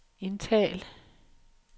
indtal